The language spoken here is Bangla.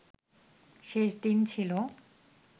শেষ দিন ছিল